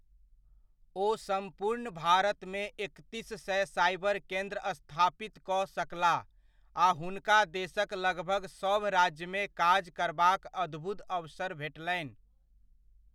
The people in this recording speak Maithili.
ओ सम्पूर्ण भारतमे एकतीस सए साइबर केन्द्र स्थापित कऽ सकलाह आ हुनका देशक लगभग सभराज्यमे काज करबाक अद्भुत अवसर भेटलनि।